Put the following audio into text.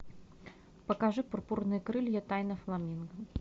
покажи пурпурные крылья тайна фламинго